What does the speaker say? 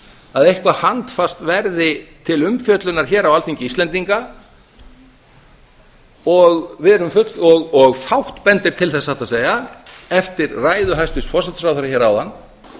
að eitthvað handfast verði til umfjöllunar hér á alþingi íslendinga og fátt bendir til þess satt að segja eftir ræðu hæstvirts forsætisráðherra hér áðan